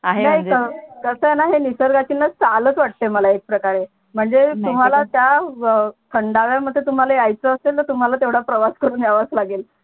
कस आहे णा हे नीसर्गाची चालच वाटते मला एक प्रकारे म्हणजे नाही तर काय तुम्हाला त्या खंडालामध्ये तुम्हाला याच असेलन तुम्हाला तेवडा प्रवास करून यावच लागेल